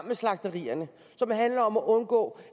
med slagterierne som handler om at undgå